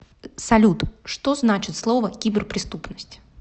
салют что значит слово киберпреступность